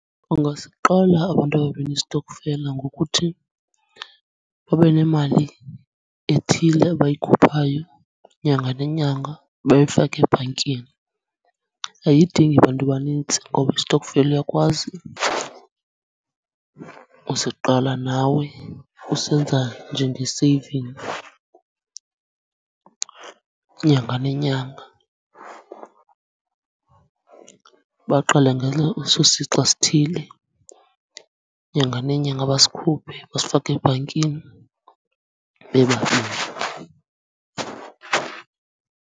Ungasiqala abantu ababini isitokfela ngokuthi babe nemali ethile abayikhuphayo nyanga nenyanga bayifake ebhankini. Ayidingi bantu banintsi ngoba isitokfela uyakwazi usiqala nawe usenza njenge-saving nyanga nenyanga. Baqale ngelo, eso sixa sithile nyanga nenyanga basikhuphe basifake ebhankini bebani.